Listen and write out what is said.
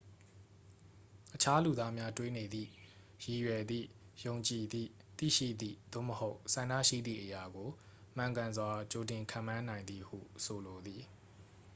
အခြားလူသားများ တွေးနေသည့် ရည်ရွယ်သည့် ယုံကြည်သည့် သိရှိသည့် သို့မဟုတ် ဆန္ဒရှိသည့်အရာကို မှန်ကန်စွာ ကြိုတင်ခန့်မှန်းနိုင်သည်ဟု ဆိုလိုသည်